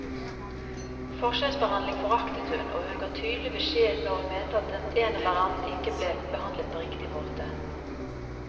Forskjellsbehandling foraktet hun, og hun ga tydelig beskjed når hun mente at en eller annen ikke ble behandlet på riktig måte.